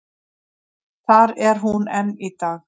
Þar er hún enn í dag.